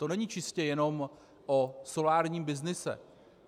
To není čistě jenom o solárním byznyse.